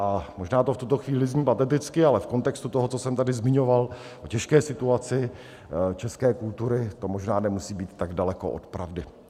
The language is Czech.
A možná to v tuto chvíli zní pateticky, ale v kontextu toho, co jsem tady zmiňoval o těžké situaci české kultury, to možná nemusí být tak daleko od pravdy.